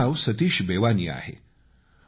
माझं नाव सतीश बेवानी आहे